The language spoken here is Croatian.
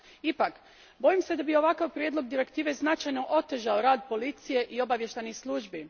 Ipak, bojim se da bi ovakav prijedlog direktive značajno otežao rad policije i obavještajnih službi.